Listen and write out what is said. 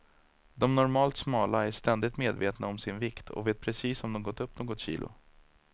De normalt smala är ständigt medvetna om sin vikt och vet precis om de gått upp något kilo.